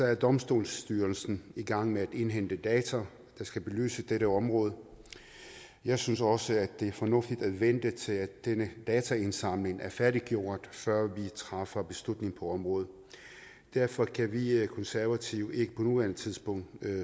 er domstolsstyrelsen i gang med at indhente data der skal belyse dette område jeg synes også at det er fornuftigt at vente til denne dataindsamling er færdiggjort før vi træffer beslutning på området derfor kan vi konservative ikke på nuværende tidspunkt